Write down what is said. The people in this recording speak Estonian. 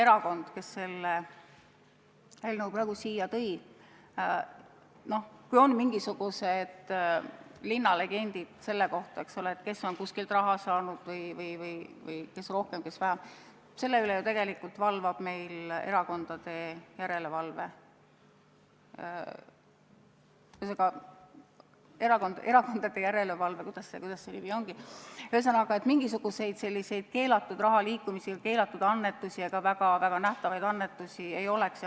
Ma võin täiesti kindlalt öelda, et kui ongi mingisugused linnalegendid selle kohta, kes on kuskilt raha saanud, kes rohkem, kes vähem, siis selle üle ju tegelikult valvab erakondade järelevalve või kuidas see nimi ongi, et mingisuguseid keelatud rahaliikumisi ega keelatud annetusi ja ka väga nähtavaid annetusi ei oleks.